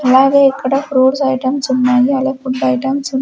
అలాగే ఇక్కడ fruits items ఉన్నాయి అలా ఫుడ్ ఐటమ్స్ ఉన్--